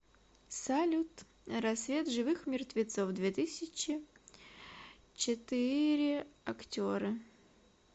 салют рассвет живых мертвецов две тысячи четы ре актеры